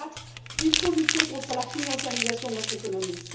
Quatrièmement, il faut lutter contre la financiarisation de notre économie.